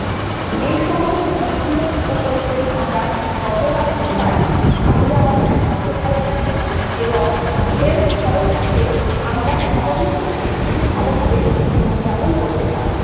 এই সমস্ত দিকগুলোর উপরে যদি আমরা নজর রাখতে পারি তাহলে আমাদের স্বাস্থ্য ভাল থাকবে এবং Health ভালো থাকলে আমরা স্বাভাবিকই খুব ভালোভাবে জীবনযাপন করতে পারব